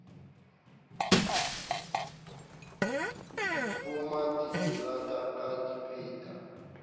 di poma diterata ka dipeta